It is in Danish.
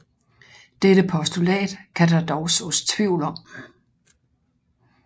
Dette postulat kan der dog sås tvivl om